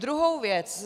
Druhá věc.